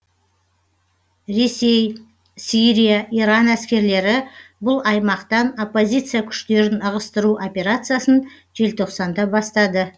ресей сирия иран әскерлері бұл аймақтан оппозиция күштерін ығыстыру операциясын желтоқсанда бастады